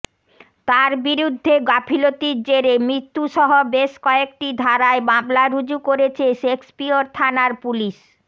তার বিরুদ্ধে গাফিলতির জেরে মৃত্যু সহ বেশ কয়েকটি ধারায় মামলা রুজু করেছে শেক্সপিয়র থানার পুলিশ